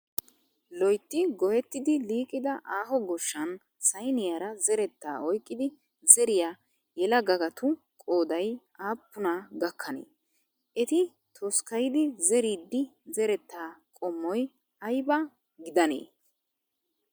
Loyitti goyettidi liiqida aaho goshshan sayiniyaara zerettaa oyiqqidi zeriyaa yelagagtu qoodayi aappunaa gakkanee? Eti toskkayidi zeriiddi zerettaa qommoyi ayiba gidanee?